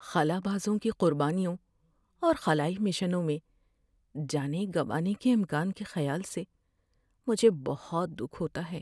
خلابازوں کی قربانیوں اور خلائی مشنوں میں جانیں گنوانے کے امکان کے خیال سے مجھے بہت دکھ ہوتا ہے۔